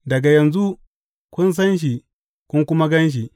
Daga yanzu, kun san shi kun kuma gan shi.